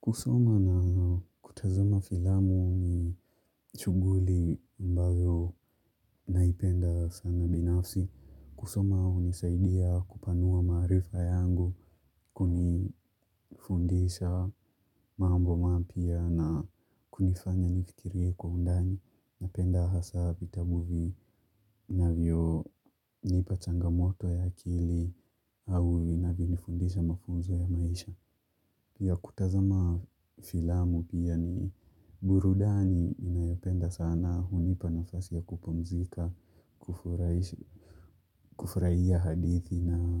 Kusoma na kutazama filamu ni shughuli ambayo naipenda sana binafsi. Kusoma hunisaidia kupanua maarifa yangu, kunifundisha mambo mapya na kunifanya nifikirie kwa undani. Napenda hasa vitabu vinavyonipa changamoto ya akili au vinanyo nifundisha mafunzo ya maisha. Burudani ninayopenda sana hunipa nafasi ya kupumzika, kufurahia hadithi na